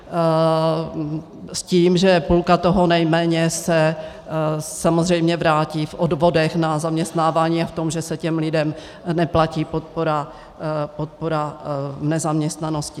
S tím, že půlka toho nejméně se samozřejmě vrátí v odvodech na zaměstnávání a v tom, že se těm lidem neplatí podpora v nezaměstnanosti.